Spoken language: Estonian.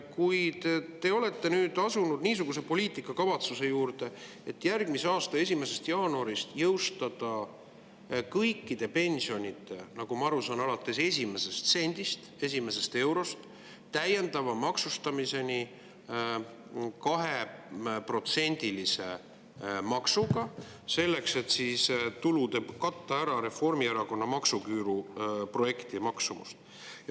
Kuid nüüd te olete asunud niisuguse poliitika juurde, et järgmise aasta 1. jaanuarist kavatsete jõustada, nagu ma aru saan, kõikide pensionide täiendava maksustamise 2%‑lise maksuga alates esimesest sendist, esimesest eurost, selleks et katta ära Reformierakonna maksuküüruprojekti maksumus.